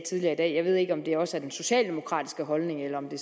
tidligere i dag jeg ved ikke om det også er den socialdemokratiske holdning eller om det